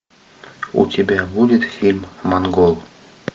у тебя будет фильм монгол